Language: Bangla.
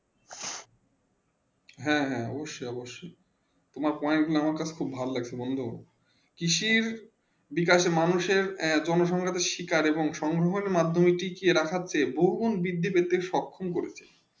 হেঁ হেঁ অবসয়ে অৱশ্যে তোমার পয়েন্ট আমার অনেক ভালো লাগছে বন্ধু